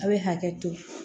A' bɛ hakɛ to